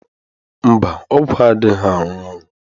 Mba, ọgwụ adịghị arụ ọrụ